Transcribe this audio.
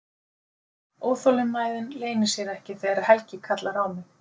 Óþolinmæðin leynir sér ekki þegar Helgi kallar á mig.